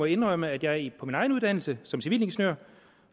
indrømme at jeg på min egen uddannelse som civilingeniør